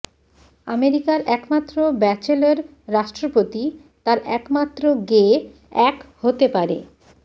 আমেরিকার একমাত্র ব্যাচেলর রাষ্ট্রপতি তার একমাত্র গে এক হতে পারে